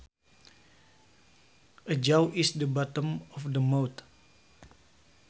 A jaw is the bottom of the mouth